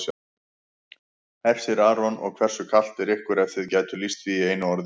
Hersir Aron: Og hversu kalt er ykkur ef þið gætuð lýst því í einu orði?